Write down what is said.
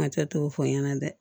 Hakili t'o fɔ n ɲɛna dɛ